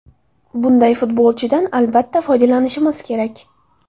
Bunday futbolchidan, albatta, foydalanishimiz kerak.